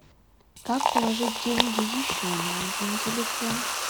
как положить деньги еще на один телефон